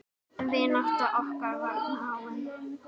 Vinátta okkar varð náin.